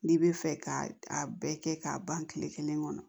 N'i bɛ fɛ k'a bɛɛ kɛ k'a ban kile kelen kɔnɔ